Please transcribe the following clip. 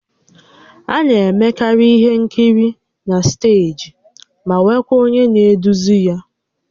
A na-emekarị ihe nkiri na steeji ma nwekwaa onye na-eduzi ya